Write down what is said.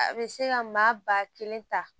A bɛ se ka maa ba kelen ta